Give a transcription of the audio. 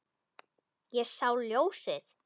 Ég sá ljósið